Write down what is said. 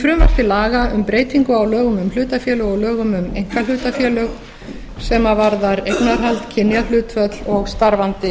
til laga um breytingu á lögum um hlutafélög og lögum um einkahlutafélög sem varðar eignarhald kynjahlutföll og starfandi